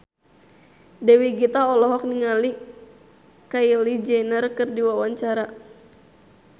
Dewi Gita olohok ningali Kylie Jenner keur diwawancara